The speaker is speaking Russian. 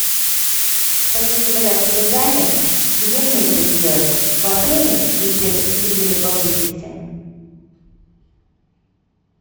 хочу заказать себе дайвинг где мне это сделать в отеле или где то поблизости